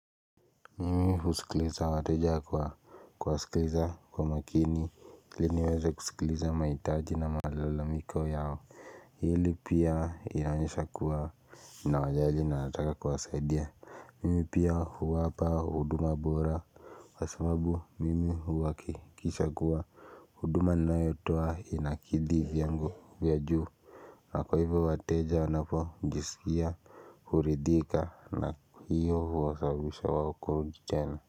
Mimi husikiliza wateja kwa kuwasikiliza kwa makini ili niweza kusikiliza mahitaji na malalamiko yao Hili pia inaonyesha kuwa nawajali na nataka kuwasaidia Mimi pia huwapa huduma bora kwa sababu mimi huakikisha kuwa huduma ninayotoa inakidhi vyango vya juu na kwa hivo wateja wanapojiskia huridhika na hiyo huwa sababisha wao kurudi tena.